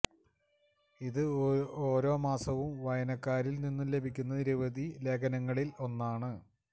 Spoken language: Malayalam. ഇത് ഓരോ മാസവും വായനക്കാരിൽ നിന്നും ലഭിക്കുന്ന നിരവധി ലേഖനങ്ങളിൽ ഒന്നാണ്